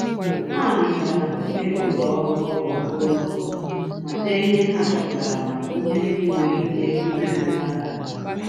Ha nyochaara ndị ụlọ ọrụ ogbe okporo ụzọ ma dee ihe ha chọpụtara maka ihe ndị nwere ike imerụ mmadụ ahụ